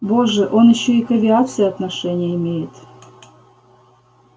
боже он ещё и к авиации отношение имеет